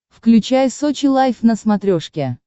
включай сочи лайф на смотрешке